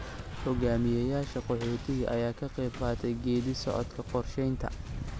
Hogaamiyayaasha qaxoontiga ayaa ka qayb qaatay geedi socodka qorshaynta.